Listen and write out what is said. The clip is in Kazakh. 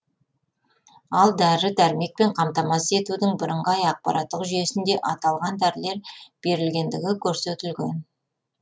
ал дәрі дәрмекпен қамтамасыз етудің бірыңғай ақпараттық жүйесінде аталған дәрілер берілгендігі көрсетілген